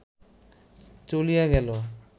চলিয়া গেল